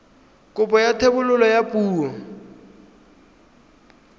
kopo ya thebolo ya poo